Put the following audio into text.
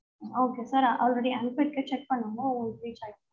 okay sir already